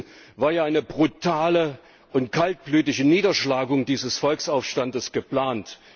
Wie wir wissen, war ja eine brutale und kaltblütige Niederschlagung dieses Volksaufstands geplant.